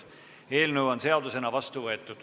Eelnõu on seadusena vastu võetud.